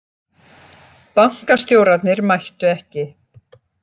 Bankastjórarnir mættu ekki